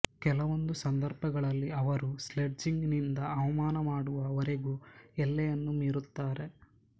ಕೆಲವೊಂದು ಸಂದರ್ಭಗಳಲ್ಲಿ ಅವರು ಸ್ಲೆಡ್ಜಿಂಗ್ ನಿಂದ ಅವಮಾನ ಮಾಡುವ ವರೆಗು ಎಲ್ಲೆಯನ್ನು ಮೀರುತ್ತಾರೆ